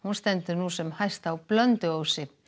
stendur nú sem hæst á Blönduósi